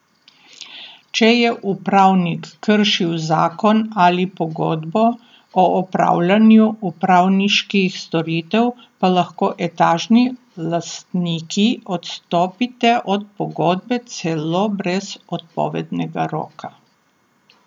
Če je upravnik kršil zakon ali pogodbo o opravljanju upravniških storitev, pa lahko etažni lastniki odstopite od pogodbe celo brez odpovednega roka.